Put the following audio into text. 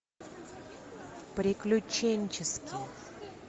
приключенческий